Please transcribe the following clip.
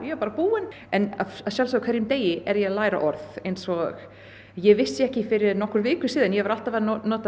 bara búin en að sjálfsögðu á hverjum degi er ég að læra orð eins og ég vissi ekki fyrir nokkrum vikum síðan að ég var alltaf að nota